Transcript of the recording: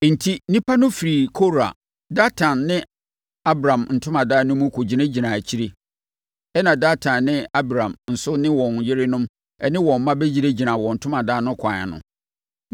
Enti, nnipa no firii Kora, Datan ne Abiram ntomadan no mu kɔgyinagyinaa akyire. Ɛnna Datan ne Abiram nso ne wɔn yerenom ne wɔn mma bɛgyinagyinaa wɔn ntomadan no akwan ano.